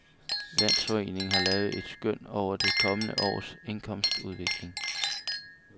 Landsforeningen har lavet et skøn over det kommende års indkomstudvikling.